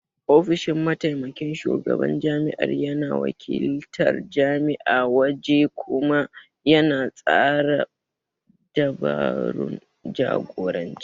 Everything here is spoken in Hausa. Ofishin Mataimakin Shugaban Jami'ar yana wakiltar jami'a a waje kuma yana tsara dabarun jagoranci